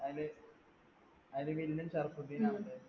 അതില് അതിൽ villain ഷറഫുദ്ധീൻ